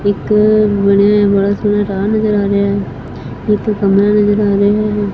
ਇੱਕ ਬਣਿਆ ਬੜਾ ਸੋਹਣਾ ਰਾਹ ਨਜ਼ਰ ਆ ਰਿਹਾ ਹੈ ਇੱਕ ਕਮਰਾ ਨਜ਼ਰ ਆ ਰਿਹਾ ਹੈ।